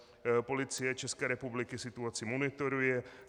Policie České republiky situaci monitoruje.